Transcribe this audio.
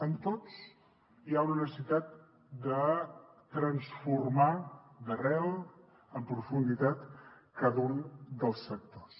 en tots hi ha una necessitat de transformar d’arrel en profunditat cada un dels sectors